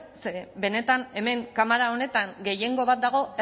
ze benetan hemen kamara honetan gehiengo bat dago